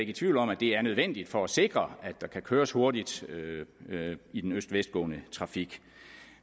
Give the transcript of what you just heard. i tvivl om at det er nødvendigt for at sikre at der kan køres hurtigt i den øst vest gående trafik